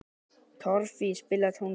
Torfey, spilaðu tónlist.